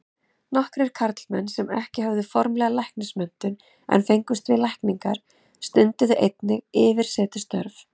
Nokkrir karlmenn sem ekki höfðu formlega læknismenntun en fengust við lækningar, stunduðu einnig yfirsetustörf.